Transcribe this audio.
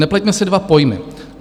Nepleťme si dva pojmy.